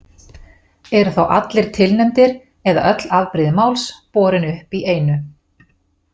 Eru þá allir tilnefndir eða öll afbrigði máls borin upp í einu.